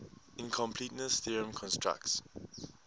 incompleteness theorem constructs